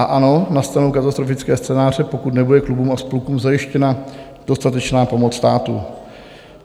A ano, nastanou katastrofické scénáře, pokud nebude klubům a spolkům zajištěna dostatečná pomoc státu.